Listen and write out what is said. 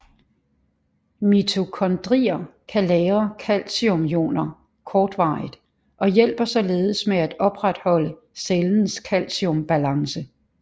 Mitokondrier kan lagre calciumioner kortvarigt og hjælper således med at opretholde cellens calciumbalance